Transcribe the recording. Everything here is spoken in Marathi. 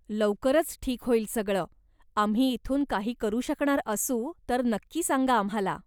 लवकरच ठीक होईल सगळं, आम्ही इथून काही करू शकणार असू तर नक्की सांगा आम्हाला.